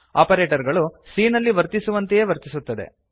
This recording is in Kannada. ಆಪರೇಟರ್ ಗಳು c ನಲ್ಲಿ ವರ್ತಿಸುವಂತೆಯೇ ವರ್ತಿಸುತ್ತದೆ